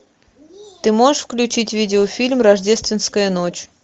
ты можешь включить видеофильм рождественская ночь